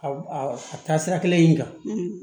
Aw a taa sira kelen in kan